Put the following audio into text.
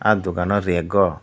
ahh dugan o rag o.